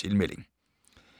Tilmelding